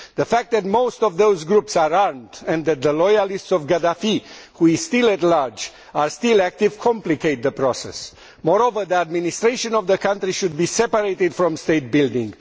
The fact that most of those groups are armed and that those loyal to Gaddafi, who is still at large, are still active complicates the process. Moreover, the administration of the country should be separated from state building.